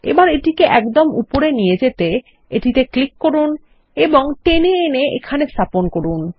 এবারএটিকে একদমউপরে নিয়ে যেতে এটিতেক্লিক করুন এবংটেনে এনে এখানে স্থাপন করুন